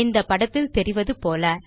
இந்த படத்தில் தெரிவது போல